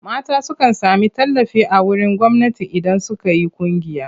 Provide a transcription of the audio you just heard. Mata sukan sami tallafi a wurin gwamnati idan suka yi ƙungiya.